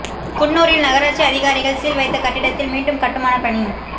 குன்னூரில் நகராட்சி அதிகாரிகள் சீல் வைத்த கட்டிடத்தில் மீண்டும் கட்டுமான பணி